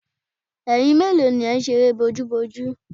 Ẹyin mélòó ni ẹ̀ ń ṣe eré bójúbojú?